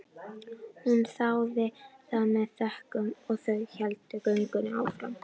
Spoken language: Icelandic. Hún þáði það með þökkum og þau héldu göngunni áfram.